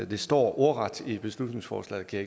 det står ordret i beslutningsforslaget kan